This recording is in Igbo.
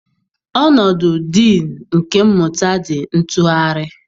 Ọnọdụ Diinu nke Mmụta dị ntụgharị.